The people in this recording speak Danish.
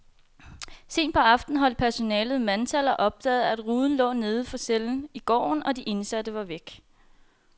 Sent på aftenen holdt personalet mandtal og opdagede, at ruden lå neden for cellen i gården, og de indsatte var væk.